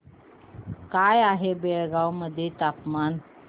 काय आहे बेळगाव मध्ये तापमान